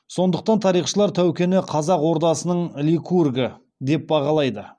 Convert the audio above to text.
сондықтан тарихшылар тәукені қазақ ордасының ликургі деп бағалайды